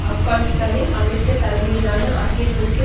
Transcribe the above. ஆப்கானிஸ்தானில் அமெரிக்கா தலைமையிலான ஆக்கிரமிப்பு